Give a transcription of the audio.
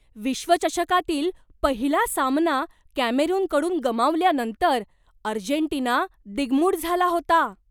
विश्वचषकातील पहिला सामना कॅमेरूनकडून गमावल्यानंतर अर्जेंटिना दिङ्गमूढ झाला होता.